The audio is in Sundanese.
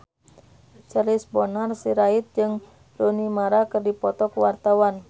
Charles Bonar Sirait jeung Rooney Mara keur dipoto ku wartawan